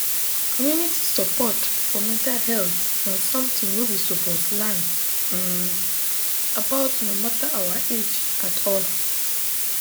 community support for mental health na something wey we suppose learn um about no matter our age at all